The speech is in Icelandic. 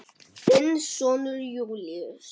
Þinn sonur Júlíus.